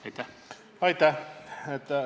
Aitäh!